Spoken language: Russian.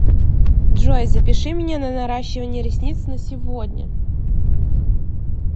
джой запиши меня на наращивание ресниц на сегодня